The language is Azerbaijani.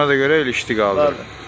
Ona da görə ilişdi qaldı.